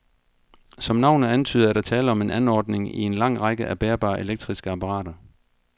Som navnet antyder, er der tale om en anordning i en lang række af bærbare elektriske apparater.